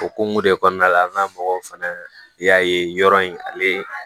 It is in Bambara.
Okumu de kɔnɔna la an ka mɔgɔw fana y'a ye yɔrɔ in ale ye